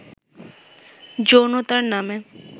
যৌনতার নামে